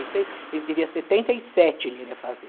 seis, ele teria setenta e sete, ele iria fazer.